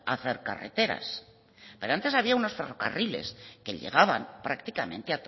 a hacer carreteras pero antes había unos ferrocarriles que llegaban prácticamente